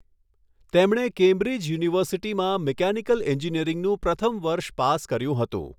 તેમણે કેમ્બ્રિજ યુનિવર્સિટીમાં મિકેનિકલ એન્જીિનીયરીંગનું પ્રથમ વર્ષ પાસ કર્યુ હતું.